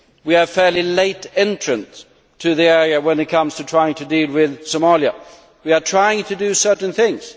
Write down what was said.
We are fairly late entrants in this area when it comes to trying to deal with Somalia. We are trying to do certain things.